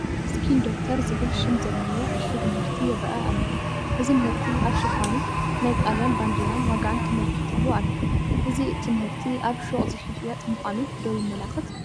“Skin Doctor” ዝብል ሽም ዘለዎ ዕሹግ ምህርቲ ይርአ ኣሎ። እዚ ምህርቲ ኣብ ሽፋኑ ናይ ጣልያን ባንዴራን ዋጋን ተመልኪቱሉ ኣሎ፡፡ እዚ እቲ ምህርቲ ኣብ ሹቕ ዝሽየጥ ምዃኑ ዶ የመላኽት?